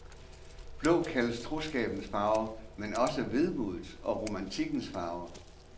Blå kaldes troskabens farve, men også vemodets og romantikkens farve.